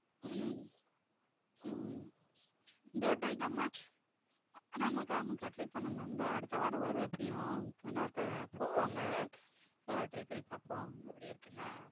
உம் உம் இந்த வாட்ட எங்க அம்மா ஆமாக்கா ஆமாக்கா try பண்ணனும் இந்த அடுத்த வாரம் வரும் எப்டியும் போவாங்க try பன்னி பாப்போம் எப்டி இருக்குனு